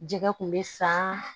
Jɛgɛ kun bɛ san